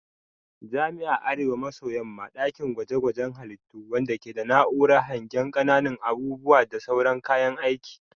Jami'ar Arewa maso yamma dakin gwaje gwaje halittu wadanda ke da na'urar hangen kananun abubuwa da sauran kayan aiki.